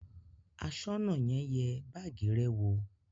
Aṣọ́nà náà yẹ báágì rẹ wò?